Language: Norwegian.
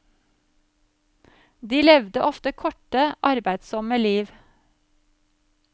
De levde ofte korte, arbeidssomme liv.